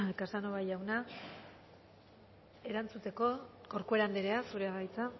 casanova jauna erantzuteko corcuera andrea zurea da hitza